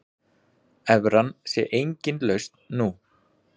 Evran sé engin lausn nú.